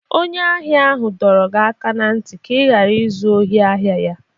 Onye ahịa ahụ dọrọ gị aka n'ntị ka ị ghara izu ohi ahịa ya!